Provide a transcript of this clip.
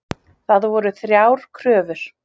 Það voru þrjár kröfur